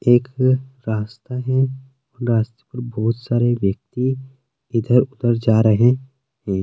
एक रास्ता है रास्ते पर बहुत सारे व्यक्ति इधर उधर जा रहे है।